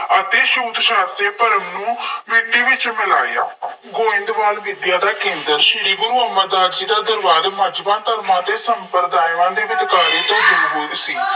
ਅਤੇ ਛੂਤ-ਛਾਤ ਦੇ ਭਰਮ ਨੂੰ ਮਿੱਟੀ ਵਿੱਚ ਮਿਲਾਇਆ। ਗੋਇੰਦਵਾਲ ਵਿੱਦਿਆ ਦਾ ਕੇਂਦਰ ਸੀ। ਸ਼੍ਰੀ ਗੁਰੂ ਅਮਰਦਾਸ ਜੀ ਦਾ ਦਰਬਾਰ ਮਜ਼੍ਹਬਾਂ, ਧਰਮਾਂ ਦੇ ਸੰਪਰਦਾਇਆਂ ਦੇ ਵਿਤਕਰੇ ਦੇ ਵਿਰੁੱਧ ਸੀ।